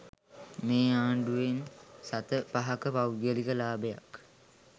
මේ ආණ්ඩුවෙන් සත පහක පෞද්ගලික ලාභයක්